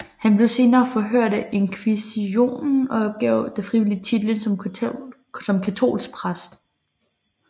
Han blev senere forhørt af inkvisisjonen og opgav da frivilligt titlen som katolsk prest